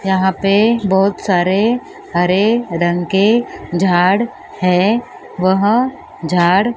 यहां पे बहुत सारे हरे रंग के झाड़ हैं वह झाड़--